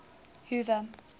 hoover